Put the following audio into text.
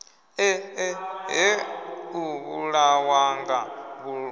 e eṱhe u vhulawanga vhuludu